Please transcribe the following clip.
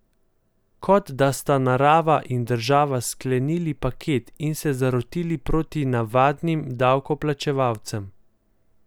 Kot da sta narava in država sklenili pakt in se zarotili proti navadnim davkoplačevalcem.